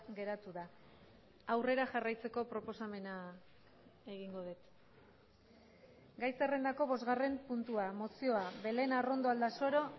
geratu da aurrera jarraitzeko proposamena egingo dut gai zerrendako bosgarren puntua mozioa belén arrondo aldasoro